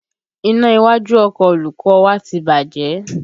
Iná iwájú ọkọ olùkọ́ ọ wa ti bàjẹ́